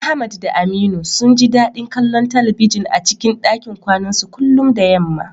Ahmad da Aminu sun ji dadin kallon talbijin a cikin dakin kwanansu kullum da yamma.